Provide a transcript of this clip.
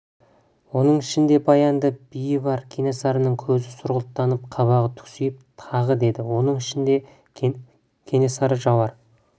оның ішінде баянды би бар кенесарының көзі сұрғылттанып қабағы түксиіп тағы деді оның ішінде кенесары жауар